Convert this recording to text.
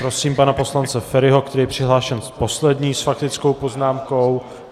Prosím pana poslance Feriho, který je přihlášen poslední s faktickou poznámkou.